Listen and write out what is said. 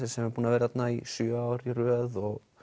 sem er búinn að vera þarna í sjö ár í röð og